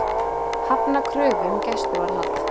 Hafna kröfu um gæsluvarðhald